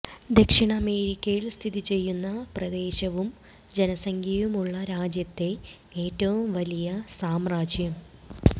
ദക്ഷിണ അമേരിക്കയിൽ സ്ഥിതി ചെയ്യുന്ന പ്രദേശവും ജനസംഖ്യയുമുള്ള രാജ്യത്തെ ഏറ്റവും വലിയ സാമ്രാജ്യം